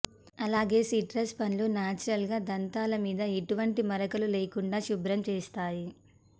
అలాగే సిట్రస్ పండ్లు నేచురల్ గా దంతాల మీద ఎటువంటి మరకలు లేకుండా శుభ్రం చేస్తాయి